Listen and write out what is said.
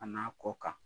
A n'a kɔ kan